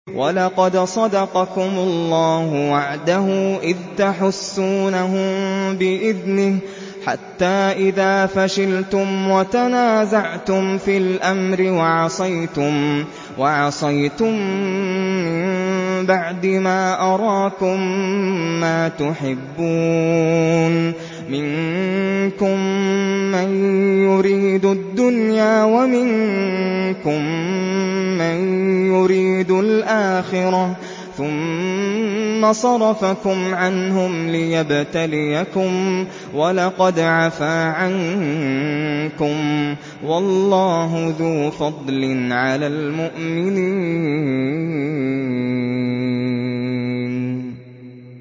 وَلَقَدْ صَدَقَكُمُ اللَّهُ وَعْدَهُ إِذْ تَحُسُّونَهُم بِإِذْنِهِ ۖ حَتَّىٰ إِذَا فَشِلْتُمْ وَتَنَازَعْتُمْ فِي الْأَمْرِ وَعَصَيْتُم مِّن بَعْدِ مَا أَرَاكُم مَّا تُحِبُّونَ ۚ مِنكُم مَّن يُرِيدُ الدُّنْيَا وَمِنكُم مَّن يُرِيدُ الْآخِرَةَ ۚ ثُمَّ صَرَفَكُمْ عَنْهُمْ لِيَبْتَلِيَكُمْ ۖ وَلَقَدْ عَفَا عَنكُمْ ۗ وَاللَّهُ ذُو فَضْلٍ عَلَى الْمُؤْمِنِينَ